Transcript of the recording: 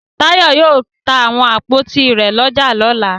Táyọ̀ yóò ta àwọn àpótí rẹ̀ lọ́jà lọ́la.